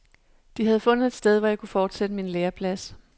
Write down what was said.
De havde fundet et sted, hvor jeg kunne fortsætte min læreplads.